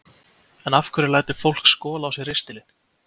En af hverju lætur fólk skola á sér ristilinn?